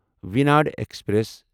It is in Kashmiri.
ویٖناڈ ایکسپریس